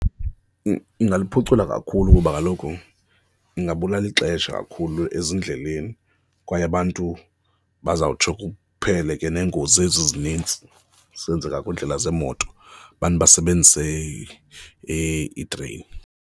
Ingaluphucula kakhulu kuba kaloku ingabula ixesha kakhulu ezindleleni kwaye abantu bazawutsho kuphele ke neengozi ezi ezinintsi zenzeka kwiindlela zemoto, abantu basebenzise iitreyini.